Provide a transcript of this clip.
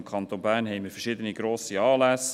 Im Kanton Bern haben wir verschiedene grosse Anlässe.